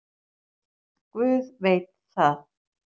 Guð veit það.